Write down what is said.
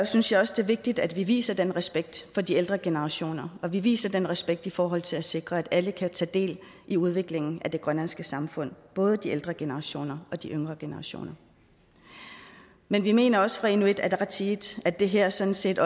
synes jeg også det er vigtigt at vi viser den respekt for de ældre generationer og at vi viser den respekt i forhold til at sikre at alle kan tage del i udviklingen af det grønlandske samfund både de ældre generationer og de yngre generationer men vi mener også fra inuit ataqatigiits at det her sådan set